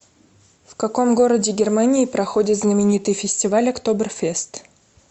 в каком городе германии проходит знаменитый фестиваль октоберфест